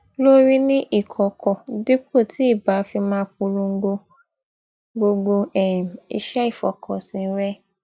lórí ní ìkòkò dípò tí ì bá fi máa polongo gbogbo um ìṣe ìfokànsìn rẹ